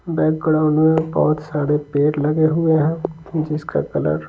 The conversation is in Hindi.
बैकग्राउंड में बहुत सारे पेड़ लगे हुए हैं जिसका कलर --